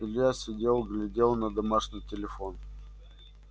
илья сидел глядел на домашний телефон